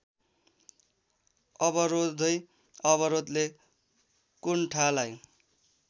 अवरोधै अवरोधले कुण्ठालाई